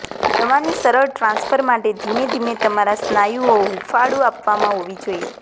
દવાની સરળ ટ્રાન્સફર માટે ધીમે ધીમે તમારા સ્નાયુઓ હૂંફાળું આપવામાં હોવી જોઈએ